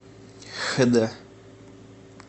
хд